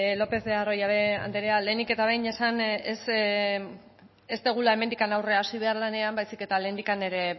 lopez de arroyabe anderea lehenik eta behin esan ez dugula hemendik aurrera hasi behar lanean baizik eta lehendik ere